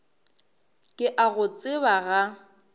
ke a go tseba ga